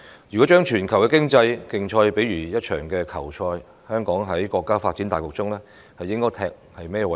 如果將全球的經濟競賽比喻為一場球賽，香港在國家發展大局中，應該負責甚麼位置？